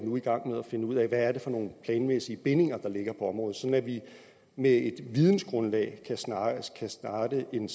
nu i gang med at finde ud af hvad det er for nogle planmæssige bindinger der ligger på området sådan at vi med et vidensgrundlag kan starte en